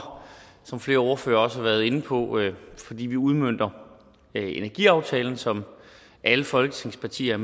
som flere ordførere også har været inde på fordi vi udmønter energiaftalen som alle folketingets partier